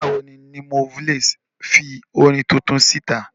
Nígbà wo ni Limoblaze fi orin tuntun sí ìta?